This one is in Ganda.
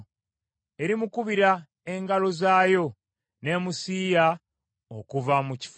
Erimukubira engalo zaayo, n’emusiiya okuva mu kifo kye.”